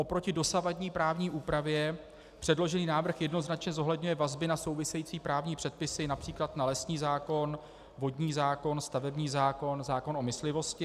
Proti dosavadní právní úpravě předložený návrh jednoznačně zohledňuje vazby na související právní předpisy, například na lesní zákon, vodní zákon, stavební zákon, zákon o myslivosti.